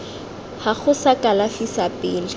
gago sa kalafi sa pele